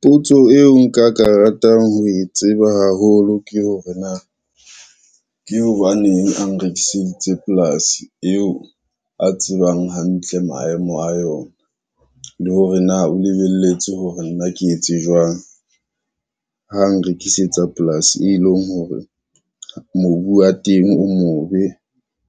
Potso eo nka ka ratang ho e tseba haholo ke hore na, ke hobaneng a nrekiseditse polasi yeo a tsebang hantle maemo a yona. Le hore na o lebelletse hore nna ke etse jwang ha nrekisetsa polasi e leng hore mobu wa teng o mobe,